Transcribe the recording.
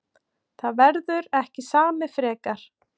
Það verður ekki samið frekar